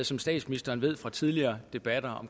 som statsministeren ved fra tidligere debatter